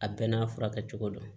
A bɛɛ n'a furakɛ cogo don